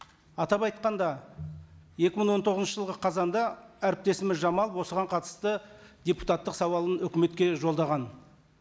атап айтқанда екі мың он тоғызыншы жылғы қазанда әріптесіміз жамалов осыған қатысты депутаттық сауалын өкіметке жолдаған